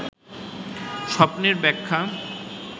স্বপ্নের ব্যাখ্যা